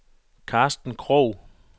Karsten Krog